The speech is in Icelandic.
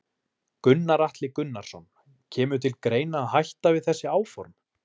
Gunnar Atli Gunnarsson: Kemur til greina að hætta við þessi áform?